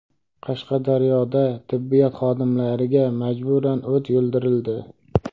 Qashqadaryoda tibbiyot xodimlariga majburan o‘t yuldirildi.